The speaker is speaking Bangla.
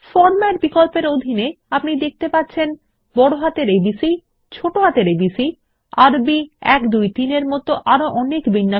ফরম্যাট বিকল্প এর অধীনে আপনি দেখতে পাচ্ছেন বড়হাতের এবিসি ছোট হাতের এবিসি আরবি ১ ২ ৩ এর মত আরো অনেক বিন্যাস